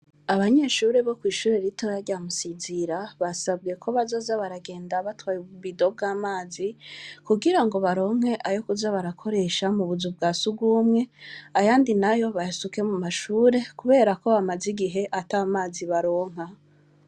Abanyeshuri bo kw'ishure rito yaryamusizira basabwe ko bazaza baragenda batwaye ububido bw'amazi kugira ngo baronke ayo kuza barakoresha mu buzu bwa si ugumwe ayandi na yo bahesuke mu mashure, kubera ko bamaze igihe ata mazi baronka.